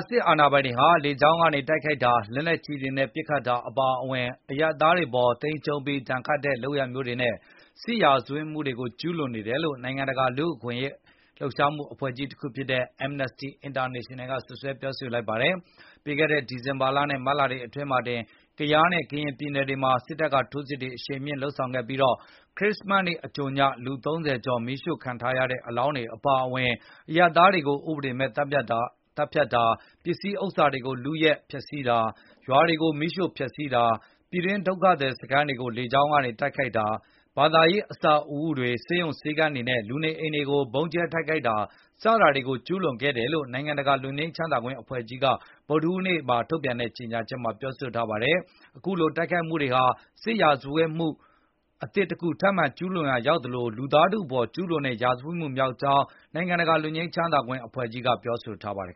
စစ်အာဏာပိုင်တွေဟာ လေကြောင်းကနေ တိုက်ခိုက်တာ၊ လက်နက်ကြီးတွေနဲ့ ပစ်ခတ်တာ အပါအဝင် အရပ်သားတွေ အပေါ် သိမ်းကျုံးပြီး ဒဏ်ခတ်တဲ့ လုပ်ရပ်မျိုးတွေနဲ့ စစ်ရာဇဝတ်မှုတွေကို ကျုးလွန်နေတယ်လို့ နိုင်ငံတကာ လူ့အခွင့်အရေးလှုပ်ရှားမှု အဖွဲ့တခုဖြစ်တဲ့ Amnesty International က စွပ်စွဲလိုက်ပါတယ်။ ပြီးခဲ့တဲ့ဒီဇင်ဘာလနဲ့ မတ်လအတွင်းမှာတင် ကယားနဲ့ ကရင်ပြည်နယ်တွေမှာ စစ်တပ်က ထိုးစစ်တွေ အရှိန်မြှင့် လုပ်ဆောင်ခဲ့ပြီး ခရစ်စမတ်နေ့ အကြိုည လူ ၃၀ ကျော်မီးရှို့ခံ ထားရတဲ့ အလောင်းတွေ အပါအဝင် အရပ်သားတွေကို ဥပဒေမဲ့ သတ်ဖြတ်တာ၊ ပစ္စည်း ဥစ္စာတွေကို လုယူဖျက်စီးတာ၊ ရွာတွေကို မီးရှို့ဖျက်စီးတာ၊ ပြည်တွင်း ဒုက္ခသည်စခန်း တွေကို လေကြောင်းကနေ တိုက်ခိုက်တာ၊ ဘာသာရေး အဆောက်အဦးတွေ၊ ဆေးရုံဆေးခန်းတွေနဲ့ လူနေအိမ်တွေကို ဗုံးကြဲတိုက်ခိုက်တာ စတာတွေကို ကျူးလွန်ခဲ့တယ်လို့ နိုင်ငံတကာ လွတ်ငြိမ်းချမ်းသာခွင့် အဖွဲ့ကြီးက ဗုဒ္ဓဟူးနေ့ ထုတ်ပြန်တဲ့ ကြေညာချက်မှာ ပြောဆိုထားပါတယ်။ အခုလို မြန်မာစစ်တပ်ရဲ့ အရပ်သားတွေ အပေါ် အပြင်းအထန်တိုက်ခိုက်မှုတွေဟာ စစ်ရာဇဝတ်မှု အသစ်တခု ထပ်မံကျူးလွန်ရာ ရောက်သလို၊ လူသားထုအပေါ် ကျုးလွန်တဲ့ ရာဇဝတ်မှု မြောက်ကြောင်းလည်း နိုင်ငံတကာ လွတ်ငြိမ်းချမ်းသာခွင့် အဖွဲ့ကြီးကပြောဆိုထားပါတယ်